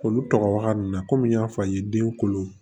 Olu tɔgɔbaga ninnu na komi n y'a fɔ a ye den kolo